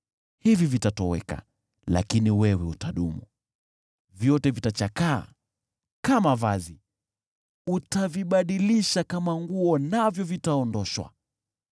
Hizi zitatoweka, lakini wewe utadumu, zote zitachakaa kama vazi. Utazibadilisha kama nguo nazo zitaondoshwa.